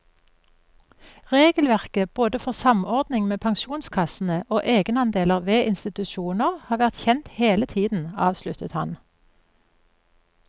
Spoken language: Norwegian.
Regelverket både for samordning med pensjonskassene og egenandeler ved institusjoner har vært kjent hele tiden, avsluttet han.